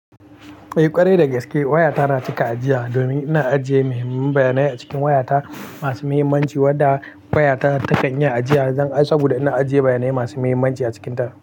Eh ƙwarai da gaske waya ta na cika ajiya domin ina ajiye muhimman bayanai a cikin waya ta masu muhimmanci wanda waya ta ta kan yi ajiya. Zan amsa saboda ina ajiye bayanai masu muhimmanci a cikin ta.